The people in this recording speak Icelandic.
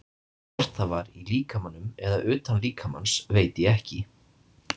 Hvort það var í líkamanum eða utan líkamans veit ég ekki.